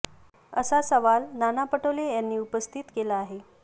असा सवाल नाना पटोले यांनी उपस्थित केला आहे